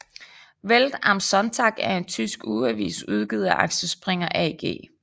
Welt am Sonntag er en tysk ugeavis udgivet af Axel Springer AG